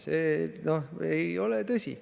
See ei ole tõsi.